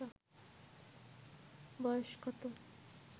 বয়স কত